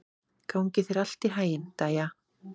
Gangi þér allt í haginn, Dæja.